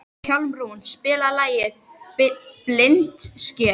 Hjálmrún, spilaðu lagið „Blindsker“.